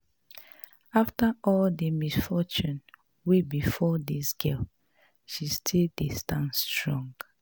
After all the misfortune wey befall dis girl she still dey stand strong